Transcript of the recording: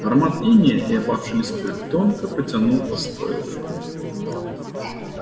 аромат инея и опавшей листвы тонко потянул по стойлам